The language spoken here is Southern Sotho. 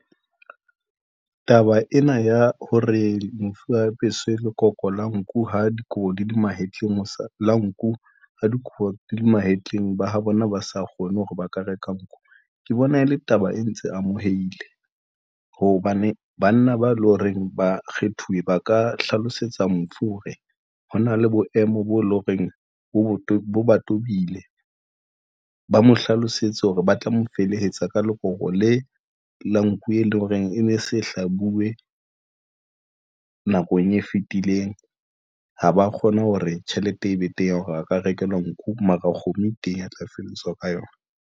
Taba ena ya hore mofu a apeswe lekoko la nku ha dikobo di le mahetleng la nku ha dikobo di le mahetleng ba, ha bona ba sa kgone hore ba ka reka nku ke bona ele taba e ntse amoheile hobane banna ba e lo reng ba kgethuwe ba ka hlalosetsa mofu hore ho na le boemo bo e leng horeng bo bo tobile. Ba mo hlalosetse hore ba tla mo felehetsa ka loka hore le la nku, e leng hore e ne se hlabuwe nakong e fetileng. Ha ba kgone hore tjhelete e be teng, hore a ka rekelwa nku mara kgomo e teng a tla felehetswa ka yona.